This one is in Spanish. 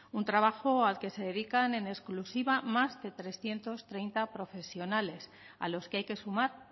un trabajo al que se dedican en exclusiva más de trescientos treinta profesionales a los que hay que sumar